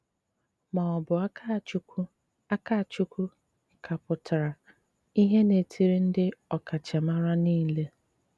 Má ọ́ bụ́ Ákachụ́kwú Ákachụ́kwú ká pútrá ìhé n’etírị ndị ọkachámára niile.